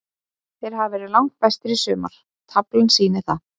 Þeir hafa verið langbestir í sumar, taflan sýnir það.